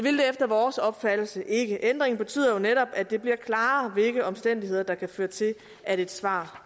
efter vores opfattelse ikke ændringen betyder jo netop at det bliver klarere hvilke omstændigheder der kan føre til at et svar